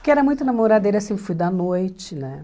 Porque era muito namoradeira, sempre fui da noite, né?